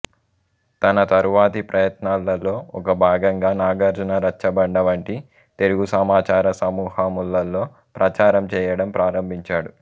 తన తరువాతి ప్రయత్నాలలో ఒక భాగంగా నాగార్జున రచ్చబండ వంటి తెలుగు సమాచార సమూహములలో ప్రచారం చేయడం ప్రారంభించాడు